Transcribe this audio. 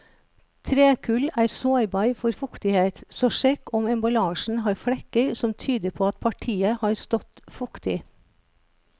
Trekull er sårbar for fuktighet, så sjekk om emballasjen har flekker som tyder på at partiet har stått fuktig.